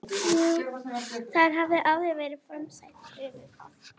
Þar hafði áður verið frumstætt gufubað.